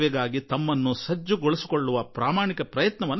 ಬಡವರ ಸೇವೆಗೆ ಅರ್ಹರಾಗಲು ಸಂಪೂರ್ಣ ಪ್ರಯತ್ನ ನಡೆಸಿದರು